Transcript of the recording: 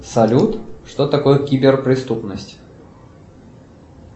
салют что такое кибер преступность